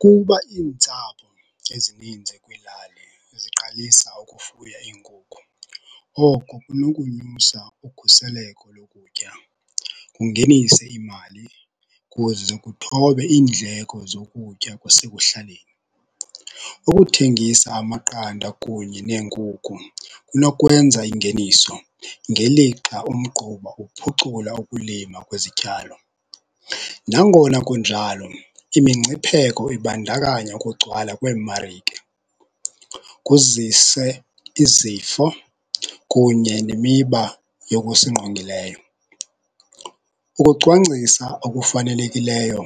Kuba iintsapho ezininzi kwiilali ziqalisa ukufuya iinkukhu, oko kunokunyusa ukhuseleko lokutya kungenise imali kuze kuthobe iindleko zokutya kwasekuhlaleni. Ukuthengisa amaqanda kunye neenkukhu kunokwenza ingeniso ngelixa umgquba uphucula ukulima kwezityalo. Nangona kunjalo imingcipheko ibandakanya ukugcwala kweemarike kuzise izifo kunye nemiba yokusingqongileyo. Ukucwangcisa okufanelekileyo